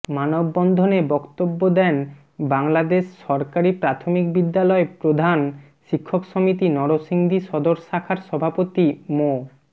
মানববন্ধনে বক্তব্য দেন বাংলাদেশ সরকারি প্রাথমিক বিদ্যালয় প্রধান শিক্ষক সমিতি নরসিংদী সদর শাখার সভাপতি মো